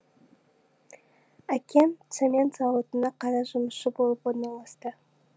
әкем цемент зауытына қара жұмысшы болып орналасты